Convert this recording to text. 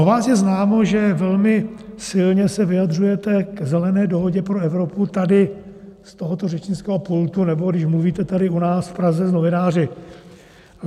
O vás je známo, že velmi silně se vyjadřujete k Zelené dohodě pro Evropu tady z tohoto řečnického pultu, nebo když mluvíte tady u nás v Praze s novináři.